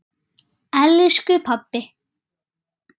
Elsku pabbi!